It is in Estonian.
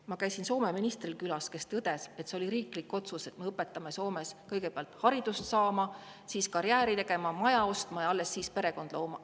Ma käisin külas Soome ministril, kes tõdes, et see oli riiklik otsus, et nad õpetavad Soomes kõigepealt haridust saama, siis karjääri tegema, maja ostma ja alles siis perekonda looma.